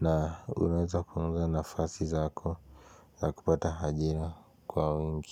na unaweza kuunga nafasi zako za kupata ajira kwa wengi.